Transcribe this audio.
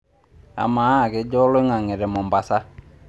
amaa kejaa oloing'ang'e te mombasa